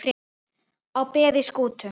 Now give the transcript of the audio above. á beði Skútu